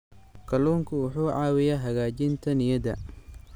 Kalluunku wuxuu caawiyaa hagaajinta niyadda.